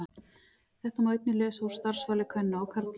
Þetta má einnig lesa út úr starfsvali kvenna og karla.